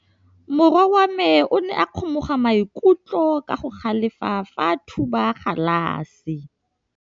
Morwa wa me o ne a kgomoga maikutlo ka go galefa fa a thuba galase.